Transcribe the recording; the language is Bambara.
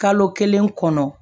Kalo kelen kɔnɔ